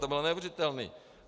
To bylo neuvěřitelné!